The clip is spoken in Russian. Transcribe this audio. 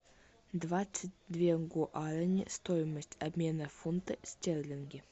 двадцать две гуарани стоимость обмена фунты стерлинги